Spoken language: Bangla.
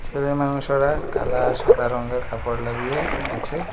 দূরের মানুষ ওরা কালা আর সাদা রঙ্গের কাপড় লাগিয়ে আছে।